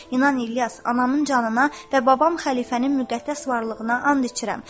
İnan, İlyas, anamın canına və babam xəlifənin müqəddəs varlığına and içirəm.